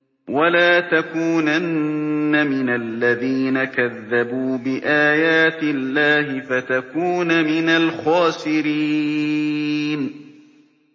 وَلَا تَكُونَنَّ مِنَ الَّذِينَ كَذَّبُوا بِآيَاتِ اللَّهِ فَتَكُونَ مِنَ الْخَاسِرِينَ